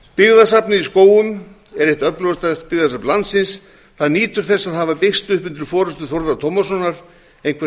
í skógum er eitt öflugasta byggðasafn landsins það nýtur þess að hafa byggst upp undir forustu þórðar tómassonar einhvers